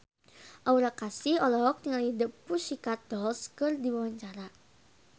Aura Kasih olohok ningali The Pussycat Dolls keur diwawancara